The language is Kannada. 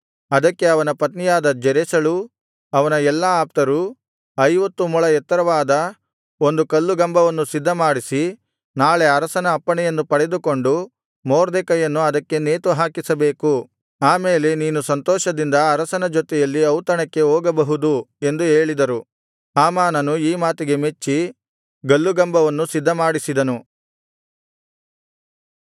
ಅದಕ್ಕೆ ಅವನ ಪತ್ನಿಯಾದ ಜೆರೆಷಳೂ ಅವನ ಎಲ್ಲಾ ಆಪ್ತರೂ ಐವತ್ತು ಮೊಳ ಎತ್ತರವಾದ ಒಂದು ಗಲ್ಲುಗಂಬವನ್ನು ಸಿದ್ಧಮಾಡಿಸಿ ನಾಳೆ ಅರಸನ ಅಪ್ಪಣೆಯನ್ನು ಪಡೆದುಕೊಂಡು ಮೊರ್ದೆಕೈಯನ್ನು ಅದಕ್ಕೆ ನೇತುಹಾಕಿಸಬೇಕು ಆ ಮೇಲೆ ನೀನು ಸಂತೋಷದಿಂದ ಅರಸನ ಜೊತೆಯಲ್ಲಿ ಔತಣಕ್ಕೆ ಹೋಗಬಹುದು ಎಂದು ಹೇಳಿದರು ಹಾಮಾನನು ಈ ಮಾತಿಗೆ ಮೆಚ್ಚಿ ಗಲ್ಲುಗಂಬವನ್ನು ಸಿದ್ಧಮಾಡಿಸಿದನು